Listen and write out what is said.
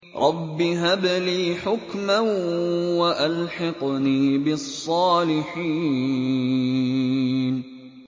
رَبِّ هَبْ لِي حُكْمًا وَأَلْحِقْنِي بِالصَّالِحِينَ